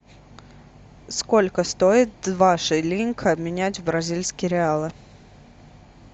сколько стоит два шиллинга обменять в бразильские реалы